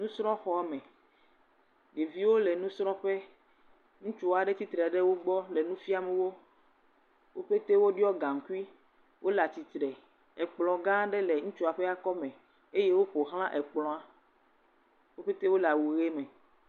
Nusrɔ̃xɔme. Ɖeviwo le nusrɔƒe. Ŋutsu aɖe tsitre ɖe wo gbɔ le nu fiam wo. Wo pɛte woɖɔ gaŋkui. Wo le atsitre. Ekplɔ gã aɖe le ŋutsua ƒe kɔme eye woƒo xla ekplɔa. Wo pɛte le awu ʋi me.